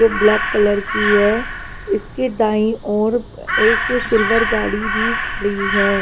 जो black colour की है इसके दाईं ओर एक सिल्वर गाड़ी भी खड़ी है।